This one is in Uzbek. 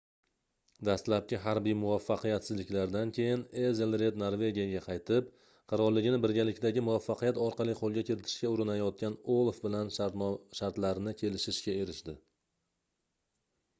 dastlabki harbiy muvaffaqiyatsizliklardan keyin ezelred norvegiyaga qaytib qirolligini birgalikdagi muvaffaqiyat orqali qoʻlga kiritishga urinayotgan olaf bilan shartlarni kelishishga erishdi